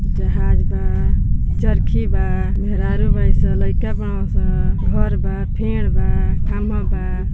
जहाज बा चरखी बा मेहरारू बाड़ी सं लइका बाडन सं घर बा फेड बा खम्बा बा |